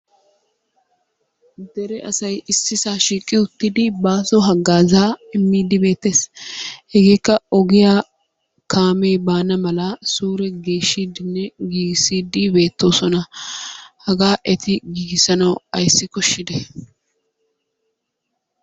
Dere asay issisaa shiiqi uttidi baaso haggazaa immiiddi beettees. Hegeekka ogiyaa kaamee baana malaa suure geeshiiddinne giigissiiddi beettoosona. Hagaa eti giigissanaw ayssi koshshidee?